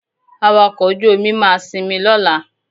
Awakọ̀ ojú-omi máa sinmi lọ́la